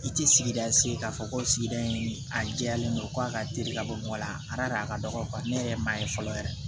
I tɛ sigida se k'a fɔ ko sigida in a jɛyalen don ko a ka teli ka bɔ mɔgɔ la a da a ka dɔgɔ ne yɛrɛ ye maa ye fɔlɔ yɛrɛ